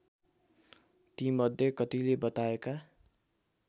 तीमध्ये कतिले बताएका